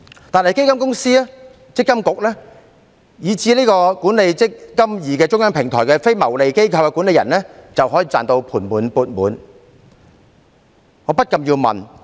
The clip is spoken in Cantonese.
但基金公司、強制性公積金計劃管理局，以至管理"積金易"這中央平台的非牟利機構管理人卻可以"賺到盤滿缽滿"。